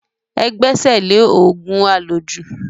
Ẹ gbẹ́sẹ̀ lé òògùn àlòjù.